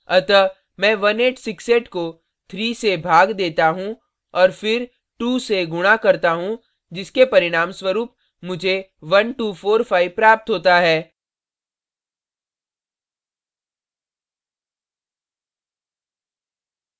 अतः मैं 1868 को 3 से भाग देता हूँ और फिर 2 से गुणा करता हूँ जिसके परिणामस्वरूप मुझे 1245 प्राप्त होता है